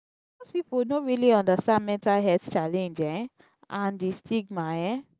most pipo no really understand mental health challenge um and di stigma um